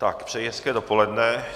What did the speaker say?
Přeji hezké dopoledne.